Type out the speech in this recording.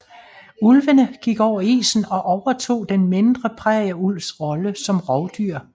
Ulvene gik over isen og overtog den mindre prærieulvs rolle som rovdyr